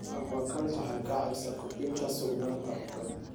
Aquaculture waxay caawisaa kordhinta sugnaanta cuntada.